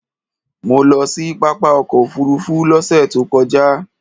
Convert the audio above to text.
Mo lọ sí pápá ọkọ̀ òfuurufú lọ́sẹ̀ tó kọjá.